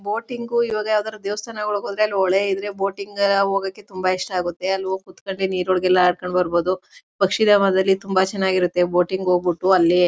boating ಇವಾಗ ಯಾವುದಾದ್ರೂ ದೇವಸ್ಥಾನಗಳಿಗೆ ಹೋದ್ರೆ ಅಲ್ಲಿ ಹೊಳೆ ಇದ್ರೆ ಬೋಟಿಂಗ್ ಹೋಗಕ್ಕೆ ತುಂಬಾ ಇಷ್ಟ ಆಗುತ್ತೆ ಅಲ್ಲಿ ಹೋಗಿ ಕೂತು ಕೊಂಡ್ರೆ ನೀರೊಳಗೆಲ್ಲ ಆಟ ಆಡ್ಕೊಂಡು ಬರಬಹುದು ಪಕ್ಷಿ ಧಾಮದಲ್ಲಿ ತುಂಬಾ ಚೆನ್ನಾಗಿರುತ್ತೆ ಬೋಟಿಂಗ್ ಹೋಗ್ಬಿಟ್ಟು ಅಲ್ಲಿ--